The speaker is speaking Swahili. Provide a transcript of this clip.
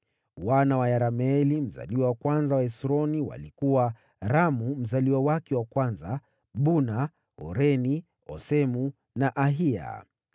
Wana wa Yerameeli mzaliwa wa kwanza wa Hesroni walikuwa: Ramu mzaliwa wake wa kwanza, Buna, Oreni, Osemu na Ahiya.